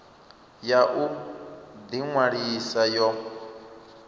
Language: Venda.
ya u ḓi ṅwalisa yo